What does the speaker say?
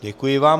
Děkuji vám.